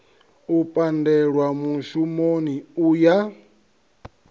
u pandelwa mushumoni u ya